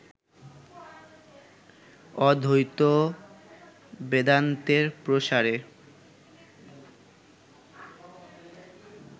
অদ্বৈত বেদান্তের প্রসারে